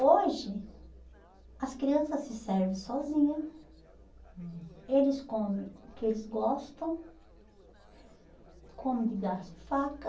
Hoje, as criança se serve sozinha, hum, eles come o que eles gostam, comem de garfo e faca,